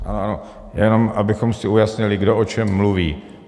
Ano, jenom abychom si ujasnili, kdo o čem mluví.